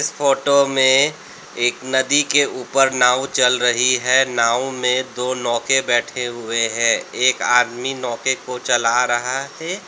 Photo में एक नदी के ऊपर नाव चल रही है नाव में दो नौके बैठे हुए हैं एक आदमी नौके को चला रहा है।